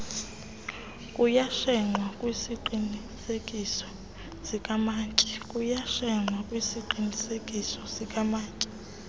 kuyashenxwa kwisiqinisekiso sikamantyi